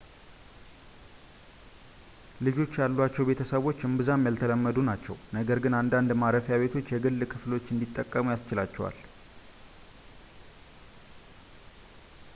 ልጆች ያሏቸው ቤተሰቦች እምብዛም ያልተለመዱ ናቸው ነገር ግን አንዳንድ ማረፊያ ቤቶች የግል ክፍሎች እንዲጠቀሙ ያስችላቸዋል